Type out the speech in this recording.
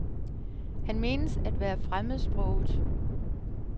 Han menes at være fremmedsproget.